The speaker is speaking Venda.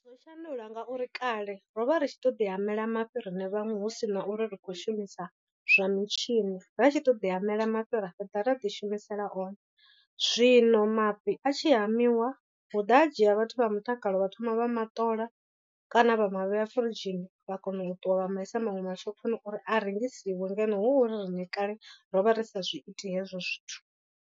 Zwo shandula ngauri kale ro vha ri tshi to ḓi hamela mafhi riṋe vhaṅwe hu sina uri ri khou shumisa zwa mitshini, ra tshi to ḓi hamela mafhi ra fhedza ra ḓi shumisela one. Zwino mafhi a tshi hamiwa hu ḓa ha dzhia vhathu vha mutakalo vha thoma vha maṱola kana vha mavhea firidzhini vha kona u ṱuwa vha maisa maṅwe mashophoni uri a rengisiwe ngeno hu uri riṋe kale rovha ri sa zwi iti hezwo zwithu.